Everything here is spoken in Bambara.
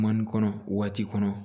Mali kɔnɔ waati kɔnɔ